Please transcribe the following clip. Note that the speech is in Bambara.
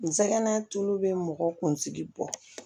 N sɛgɛnna tulu bɛ mɔgɔ kunsigi bɔ